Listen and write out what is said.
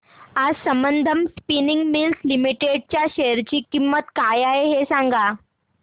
आज Sambandam spinning mills limited च्या share ची किंमत काय आहे हे सांगा